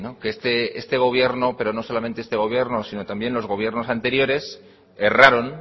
que este gobierno pero no solamente este gobierno sino también los gobiernos anteriores erraron